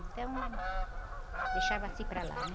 Então, ãh, deixava-se para lá, né?